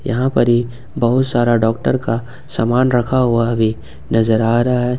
यहां पर ये बहुत सारा डॉक्टर का सामान रखा हुआ भी नजर आ रहा है।